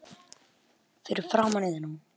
Fyrir framan Iðnó.